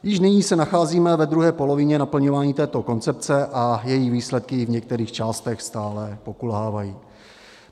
Již nyní se nacházíme ve druhé polovině naplňování této koncepce a její výsledky v některých částech stále pokulhávají.